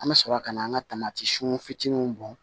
An bɛ sɔrɔ ka na an ka fitininw bɔn